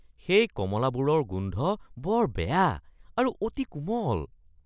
সেই কমলাবোৰৰ গোন্ধ বৰ বেয়া আৰু অতি কোমল।